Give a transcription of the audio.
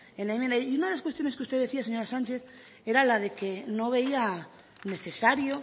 en la enmienda y una de las cuestiones que usted decía señora sánchez era la de que no veía necesario